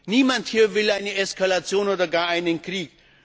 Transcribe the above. Niemand hier will eine Eskalation oder gar einen Krieg.